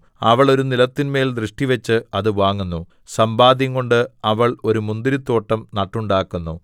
അവൾ ഒരു നിലത്തിന്മേൽ ദൃഷ്ടിവച്ച് അത് വാങ്ങുന്നു സമ്പാദ്യം കൊണ്ട് അവൾ ഒരു മുന്തിരിത്തോട്ടം നട്ടുണ്ടാക്കുന്നു